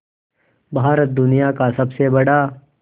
भारत दुनिया का सबसे बड़ा